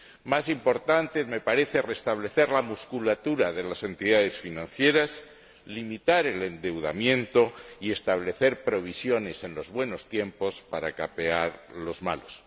Más importante me parece restablecer la musculatura de las entidades financieras, limitar el endeudamiento y establecer provisiones en los buenos tiempos para capear los malos